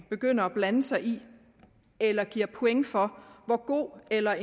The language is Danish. begynde at blande sig i eller give point for hvor god eller